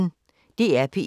DR P1